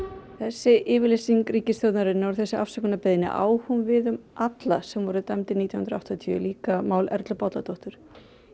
þessi yfirlýsing ríkisstjórnarinnar og afsökunarbeiðni á hún við um alla sem voru dæmdir nítján hundruð og áttatíu líka mál Erlu Bolladóttur